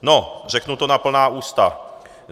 No, řeknu to na plná ústa.